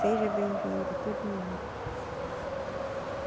Seja bem-vindo todo mundo.